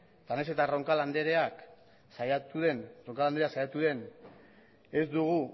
eta nahiz eta roncal andrea saiatu den ez dugu